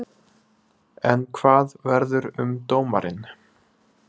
En hvað verður um dómarinn?